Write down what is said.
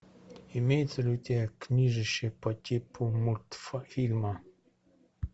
имеется ли у тебя книжище по типу мультфильма